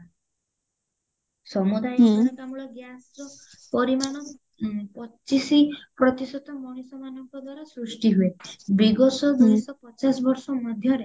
ସମୁଦାୟ ଅଙ୍ଗାରକାମ୍ଳ gasର ପରିମାଣ ପଚିଶ ପ୍ରତିଶତ ମଣିଷ ମାନଙ୍କ ଦ୍ଵାରା ସୃଷ୍ଟି ହୁଏ ବିଗତ ଦୁଇଶହ ପଚାଶ ବର୍ଷ ମଧ୍ୟରେ